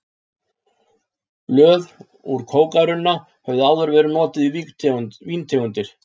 Blöð úr kókarunna höfðu áður verið notuð í víntegundir.